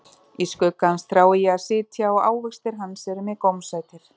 Í skugga hans þrái ég að sitja, og ávextir hans eru mér gómsætir.